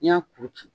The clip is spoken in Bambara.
N'i y'a kuru ci